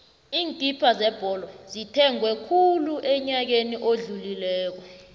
iinkipha zebholo zithengwe khulu enyakeni odlulileko